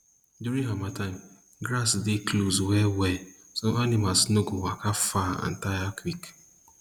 during harmattan grass dey close wellwell so animals no go waka far and tire quick